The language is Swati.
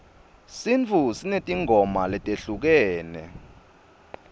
sintfu sinetimgoma letehlukene